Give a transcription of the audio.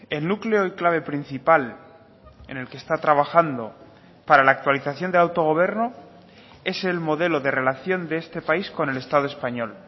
el núcleo y clave principal en el que está trabajando para la actualización del autogobierno es el modelo de relación de este país con el estado español